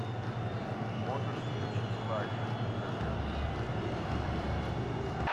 можешь включить лайф на тв